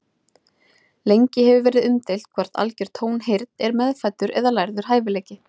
Lengi hefur verið umdeilt hvort algjör tónheyrn er meðfæddur eða lærður hæfileiki.